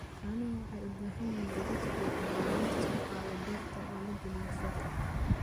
Caanuhu waxay u baahan yihiin gaadiid fiican oo laga soo qaado beerta oo la geeyo suuqa.